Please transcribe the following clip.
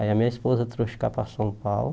Aí a minha esposa trouxe cá para São Paulo.